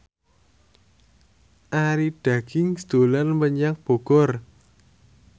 Arie Daginks dolan menyang Bogor